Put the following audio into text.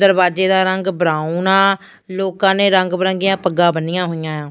ਦਰਵਾਜੇ ਦਾ ਰੰਗ ਬਰਾਉਨ ਆ ਲੋਕਾਂ ਨੇ ਰੰਗ ਬਰੰਗੀਆਂ ਪੱਗਾਂ ਬੰਨੀਆਂ ਹੋਈਆਂ ਏ ਆ।